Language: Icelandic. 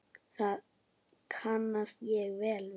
Það kannast ég vel við.